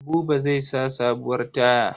Buba zai sa sabuwar taya.